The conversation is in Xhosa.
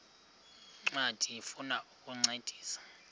ncwadi ifuna ukukuncedisa